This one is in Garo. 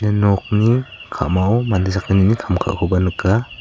ia nokni ka·mao mande sakgnini kam ka·akoba nika.